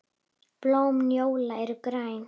Blóm njóla eru græn.